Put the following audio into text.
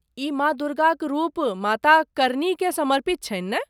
ई माँ दुर्गाक रूप माता करनीकेँ समर्पित छनि ने?